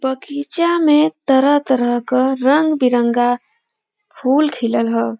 बगीचा में तरह तरह क रंग बिरंगा फूल खिलल ह।